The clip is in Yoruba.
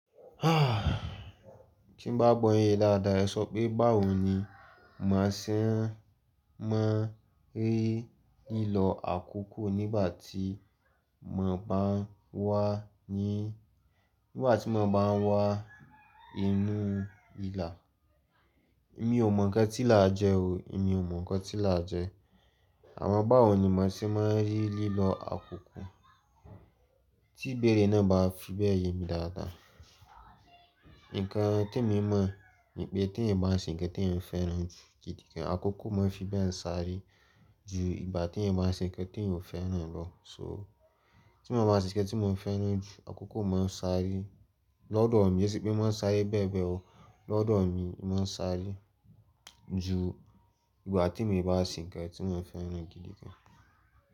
Kí bá gbọ́ yin ye dáadáa, ẹ sọ pé báwo ni màá ṣé máa ń rí lílọ àkókò nígbà tí mo bá ń wà ní nígbà tí mo bá ń wà inú ìlà. Èmi ò mọ̀ nǹkan tí là jẹ o. Èmi ò mọ̀ nǹkan tí là jẹ. Àwọn báwo ni màá ṣé máa ń rí lílọ àkókò tí ìbéèrè náà bá fi bẹ́ẹ̀ yemi dáadáa. Ǹkan temi mọ̀ ni pé tí ènìyàn bá ń ṣe ǹkan tí ènìyàn fẹ́ràn jù gidigan, àkókò máa ń fi bẹ́ẹ̀ ń sáré ju ìgbà tí ènìyàn bá ń ṣe ǹkan tí ènìyàn ò fẹ́ràn lọ. So tí mo bá ṣe ǹkan tí mo fẹ́ràn jù, àkókò máa ń sáré lọ́dọ̀ mi. Ke se pe máa ń sáré bẹ́ẹ̀ bẹ́ẹ̀ o. Lọ́dọ̀ mi, ì máa ń sáré ju ìgbà tèmi bá ṣe ǹkan tí mo fẹ́ràn gidigan.